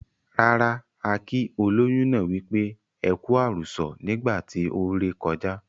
Rara, a kii ólóyún náà wípé"ẹku àrùsọ̀" nígbà tí ó ré kọjá.